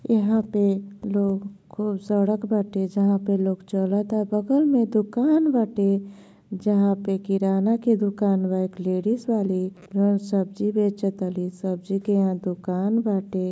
यहाँं पर लोग खूब सड़क बाटे। जहां पर लोग चलता। बगल में दुकान बाटे। जहां पे किराना के दुकान बा। एक लेडिस वाली वह सब्जी बेजतली। सब्जी के यहाँं दुकान बाटे।